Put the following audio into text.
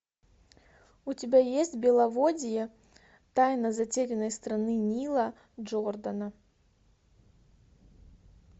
у тебя есть беловодье тайна затерянной страны нила джордана